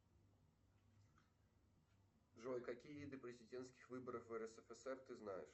джой какие виды президентских выборов в рсфср ты знаешь